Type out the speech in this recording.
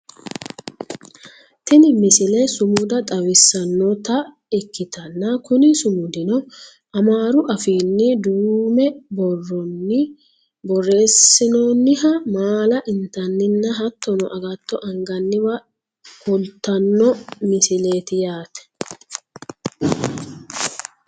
tini misile sumuda xawissannota ikkitanna kuni sumudino amaaru afiinni duuume borronni borreessinoonniha maala intanninna hattono agatto anganniwa kultanno misileeti yaate